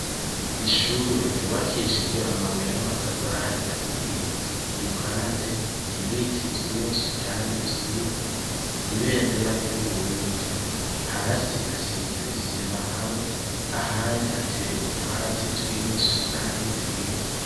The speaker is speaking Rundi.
Ishure ryubakishijwe amabuye n'amatafari ahiye, Iruhande, ibiti vyinshi kandi vyiza, Ibendera ry'uburundi. Hasi hasize isima hamwe, ahandi hateye utwatsi twinshi kandi twiza.